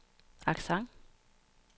accent